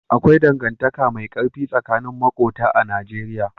Akwai dangantaka mai ƙarfi tsakanin maƙota a Najeriya.